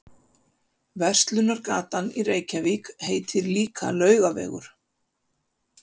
Verslunargatan í Reykjavík heitir líka Laugavegur.